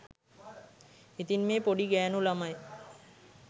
ඉතින් මේ පොඩි ගෑණු ළමයි